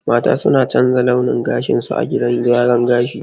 Mata suna canza launin gashinsu a gidan gyaran gashi.